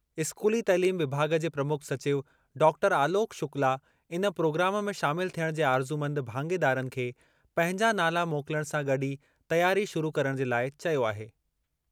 इस्कूली तइलीम विभाॻ जे प्रमुख सचिव डॉक्टर आलोक शुक्ला इन प्रोग्राम में शामिल थियणु जे आरज़ूमंद भाङेदारनि खे पंहिंजा नाला मोकिलणु सां गॾु ई तयारी शुरू करणु जे लाइ चयो आहे।